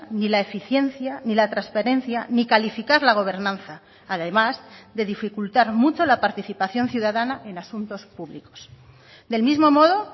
ni la eficiencia ni la transparencia ni calificar la gobernanza además de dificultar mucho la participación ciudadana en asuntos públicos del mismo modo